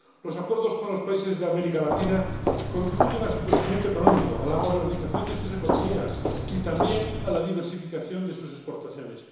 Los acuerdos con los países de América Latina contribuyen a su crecimiento económico, a la modernización de sus economías y también a la diversificación de sus exportaciones.